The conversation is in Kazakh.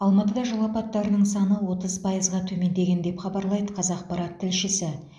алматыда жол апаттарының саны отыз пайызға төмендеген деп хабарлайды қазақпарат тілшісі